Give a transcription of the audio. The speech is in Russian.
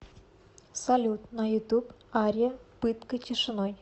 салют на ютуб ария пытка тишиной